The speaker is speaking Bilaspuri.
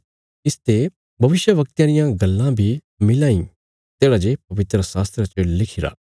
इसते भविष्यवक्तयां रियां गल्लां बी मिलां ईं तेढ़ा जे पवित्रशास्त्रा च लिखिरा